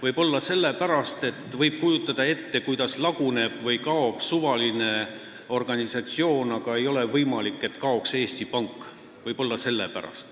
Võib-olla on nii sellepärast, et seda võib ju ette kujutada, kuidas suvaline organisatsioon laguneb või kaob, aga see ei ole võimalik, et kaoks Eesti Pank.